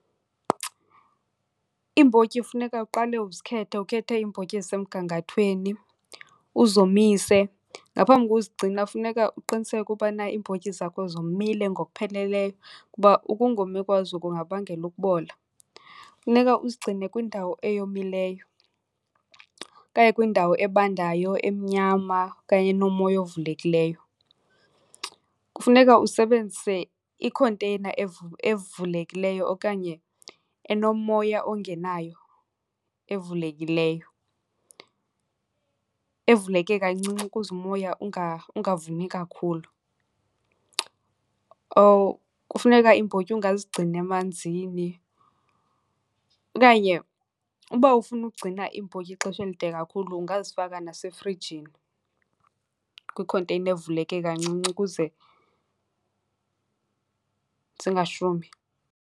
Iimbotyi funeka uqale uzikhethe, ukhethe iimbotyi ezisemgangathweni uzomise. Ngaphambi kokuzigcina funeka uqiniseke ubana iimbotyi zakho zomile ngokupheleleyo kuba ukungomi kwazo kungabangela ukubola. Funeka uzigcine kwindawo eyomileyo okanye kwindawo ebandayo, emnyama okanye enomoya ovulekileyo. Kufuneka usebenzise ikhonteyina evulekileyo okanye enomoya ongenayo evulekileyo, evuleke kancinci ukuze umoya ungavumi kakhulu. Kufuneka iimbotyi ungazigcini emanzini, okanye uba ufuna ukugcina iimbotyi ixesha elide kakhulu ungazifaka nasefrijini kwikhonteyina evuleke kancinci ukuze zingashumi.